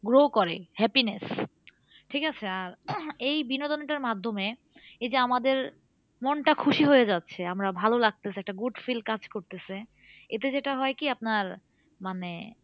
Grow করে happiness ঠিক আছে? আর এই বিনোদনটার মাধ্যমে এই যে আমাদের মনটা খুশি হয়ে যাচ্ছে আমরা ভালো লাগতাছে একটা good feel কাজ করতেছে এটা যেটা হয় কি আপনার মানে